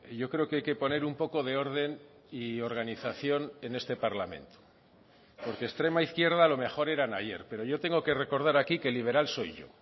yo creo que hay que poner un poco de orden y organización en este parlamento porque extrema izquierda a lo mejor eran ayer pero yo tengo que recordar aquí que liberal soy yo